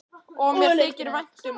Og mér þykir vænt um það.